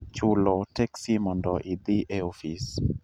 chulo teksi mondo idhi e ofis